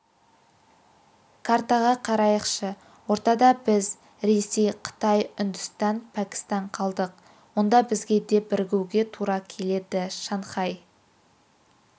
картаға қарайықшы ортада біз ресей қытай үндістан пәкістан қалдық онда бізге де бірігуге тура келеді шанхай